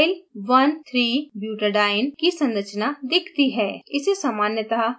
panel पर 2methyl13butadiene की संरचना दिखती है